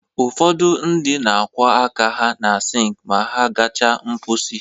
Ụfọdụ ndị na-akwọ aka ha na sink ma ha gachaa mkposi